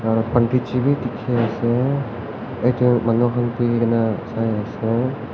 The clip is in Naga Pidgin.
aru pandit ji bhi dikhi ase edu manu khan buhi kena sai ase.